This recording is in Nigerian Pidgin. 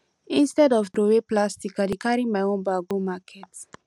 instead of throwaway plastic i dey carry my own bag go market